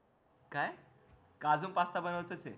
काय अजून पास्ता बनव्याचाच हे